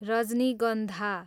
रजनीगन्धा